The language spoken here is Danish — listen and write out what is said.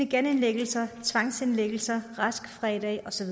genindlæggelser tvangsindlæggelser rask fra i dag og så